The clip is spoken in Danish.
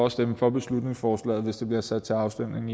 at stemme for beslutningsforslaget hvis det bliver sat til afstemning